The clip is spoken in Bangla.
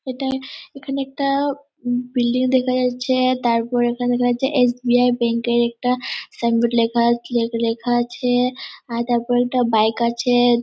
এটায় এখানে একটা উম বিল্ডিং দেখা যাচ্ছে তারপর এখানে লেখা আছে এস.বি.আই. ব্যাংক এর একটা সাইন বোর্ড লেখা লে লেখা আছে-এ। আর তারপর একটা বাইক আছে।